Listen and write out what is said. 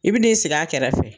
I bi n'i sigi a kɛrɛfɛ